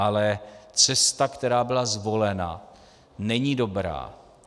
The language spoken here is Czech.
Ale cesta, která byla zvolena, není dobrá.